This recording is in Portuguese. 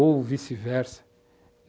Ou vice-versa.